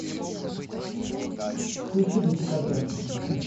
включи до декабря